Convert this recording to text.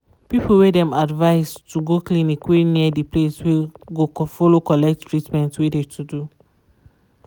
people wey dem advise to go clinic wey near de place go follow collecttreatment wey de to do.